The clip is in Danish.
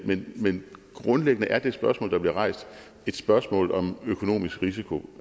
men men grundlæggende er det spørgsmål der bliver rejst et spørgsmål om økonomisk risiko